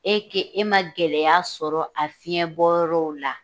E k'e ma gɛlɛya sɔrɔ a fiɲɛ bɔ yɔrɔw la